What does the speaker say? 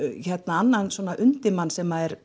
annan undirmann sem er